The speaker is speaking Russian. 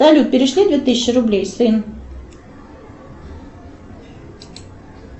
салют перешли две тысячи рублей сын